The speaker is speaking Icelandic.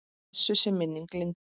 Blessuð sé minning Lindu.